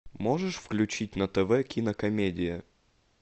можешь включить на тв кинокомедия